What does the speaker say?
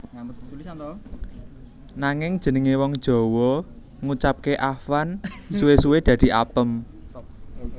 Nanging jenengé wong Jawa ngucapké afwan suwé suwé dadi apem